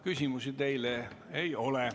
Küsimusi teile ei ole.